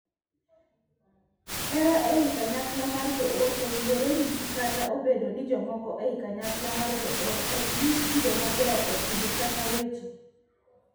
Hera ei kanyakla mar joot owinjore nyisi kata obedo ni jomoko ei kanyakla mar joot ok nyis kido maber e timbe kata weche.